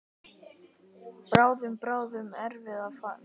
Bráðum, bráðum erum við farin.